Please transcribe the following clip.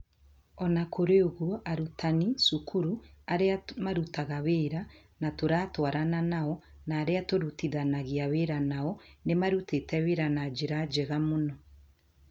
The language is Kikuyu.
O na kũrĩ ũguo, arutani, cukuru, arĩa marutaga wĩra na tũratwarana nao, na arĩa tũrutithanagia wĩra nao, nĩ marutĩte wĩra na njĩra njega mũno.